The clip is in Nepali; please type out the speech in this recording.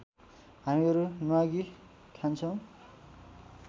हामीहरू न्वागी खान्छौँ